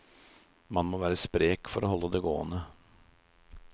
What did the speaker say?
Må være sprek for å holde det gående.